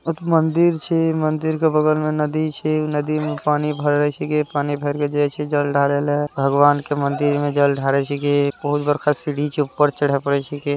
मंदिर छे मंदिर के बगल में नदी छे नदी में पानी भरा छै पानी भर के जाये छै जल ढारेल भगवान के मंदिर में जल ढारे छै बहुत बड़का सीढ़ी छे उपर चढ़प करे छेके